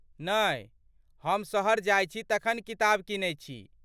नहि, हम शहर जाइत छी तखन किताब कीनैत छी?